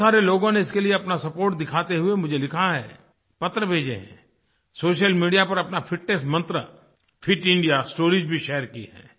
बहुत सारे लोगों ने इसके लिए अपना सपोर्ट दिखाते हुए मुझे लिखा है पत्र भेजे हैं सोशल मीडिया पर अपना फिटनेस मंत्र फिट इंडिया स्टोरीज भी शेयर की हैं